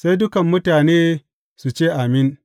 Sai dukan mutane su ce, Amin!